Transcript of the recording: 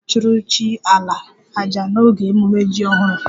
A ga-achụrụ chi 'ala' àjà n'oge ememme jim ọhụrụ